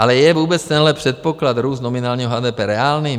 Ale je vůbec tenhle předpoklad růstu nominálního HDP reálný?